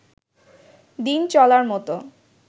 দিন চলার মত